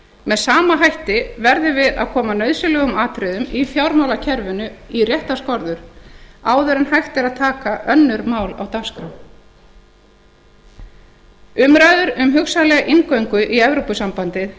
með sama hætti verðum við að koma nauðsynlegum atriðum í fjármálakerfinu í réttar skorður áður en hægt er að taka önnur mál á dagskrá umræður um hugsanlega inngöngu í evrópusambandið